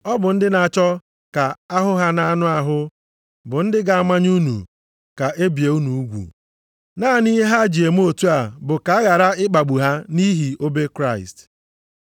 Ọ bụ ndị na-achọ ka a hụ ha nʼanụ ahụ, bụ ndị ga-amanye unu ka e bie unu ugwu, naanị ihe ha ji eme otu a bụ ka a ghara ịkpagbu ha nʼihi obe Kraịst.